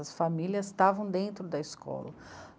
As famílias estavam dentro da escola.